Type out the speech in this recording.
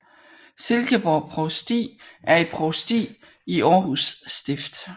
Silkeborg Provsti er et provsti i Århus Stift